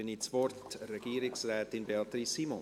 Dann gebe ich das Wort der Regierungsrätin Beatrice Simon.